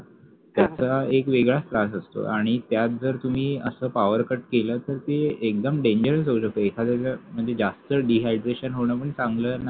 त्याचा एक वेगळाच त्रास असतो आणि त्यात जर तुम्ही असा powercut केला तर ते एकदम dangerous होऊ शकते म्हणजे जास्त Dehydration होणं पण चांगलं नाही.